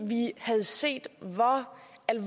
vi havde set